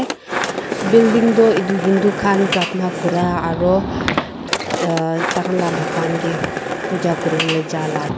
building toh etu hindu khan pratha kura aro ah tai khan bhagwan ke puja kuriwo jai la ka.